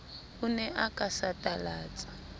o ne o ka satalatsa